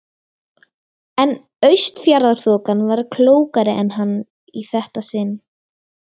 En Austfjarðaþokan var klókari en hann í þetta sinn.